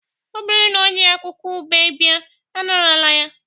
o buru na o ji akwukwo ube bia anarala ya